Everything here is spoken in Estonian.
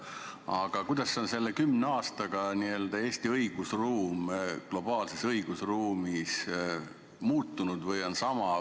Aga kuidas on selle kümne aastaga Eesti õigusruum globaalses õigusruumis muutunud?